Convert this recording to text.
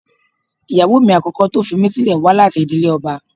Ìyàwó mi àkọ́kọ́ tó fi mí sílẹ̀ wá láti ìdílé ọba